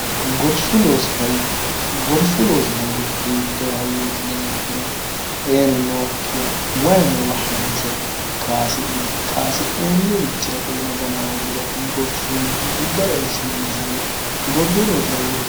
gorsu loosi hayyo hiittoo hayyootineekkiro xeenu nookkiya wayi noowa hanse kaasi'ne kaasi'noonnirichila xeena gana hooggiro gorsunni giddore eessinanni hgorsuloosi hayyooti